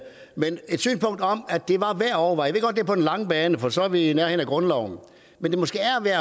det var værd at overveje jeg det på den lange bane for så er vi i nærheden af grundloven